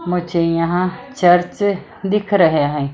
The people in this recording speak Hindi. मुझे यहां चर्च दिख रहे हैं।